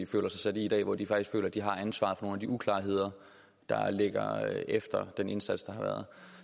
føler sig sat i i dag hvor de faktisk føler at de har ansvaret for nogle af de uklarheder der ligger efter den indsats der har været